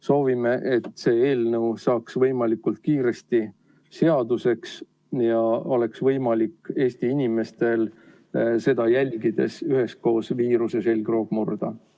Soovime, et see eelnõu saaks võimalikult kiiresti seaduseks ja Eesti inimestel oleks seda jälgides võimalik üheskoos viiruse selgroog murda.